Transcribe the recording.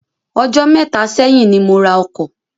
Ọjọ́ méta ṣẹ́yìn ni mo ra ọkọ̀.